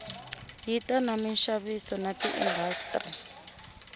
ya ta minxaviso na tiindastri